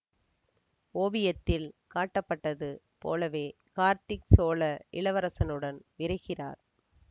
ஓவியத்தில் காட்டப்பட்டது போலவே கார்த்திக் சோழ இளவரசனுடன் விரைகிறார்